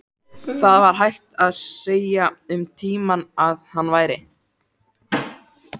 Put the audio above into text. Það var hægt að segja um tímann að hann væri.